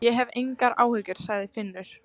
Ég hef engar áhyggjur, sagði Finnur.